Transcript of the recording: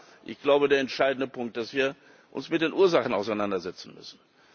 Aber ich glaube, der entscheidende Punkt ist, dass wir uns mit den Ursachen auseinandersetzen müssen.